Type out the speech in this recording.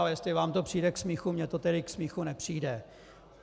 Ale jestli vám to přijde k smíchu, mně to tedy k smíchu nepřijde.